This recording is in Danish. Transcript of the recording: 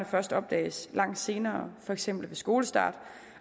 først opdages langt senere for eksempel ved skolestart